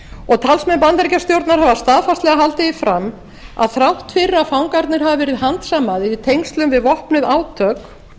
og talsmenn bandaríkjastjórnar hafa staðfastlega haldið því fram að þrátt fyrir að fangarnir hafi verið handsamaðir í tengslum við vopnuð átök